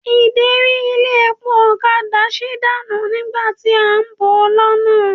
Ìderí ilé epo ọ̀kadà sí dànù nígbà tí à ń bọ̀ lọ́nà.